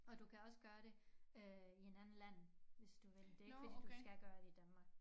Og du kan også gøre det øh i en anden land hvis du vil dét det ikke fordi du skal gøre det i Danmark